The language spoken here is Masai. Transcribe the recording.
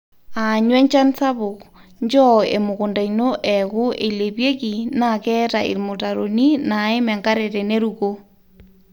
aanyu enchan sapuk; nchoo emukunta ino eeku eilepieki naa keeta ilmutaroni naim enkare tenerukoo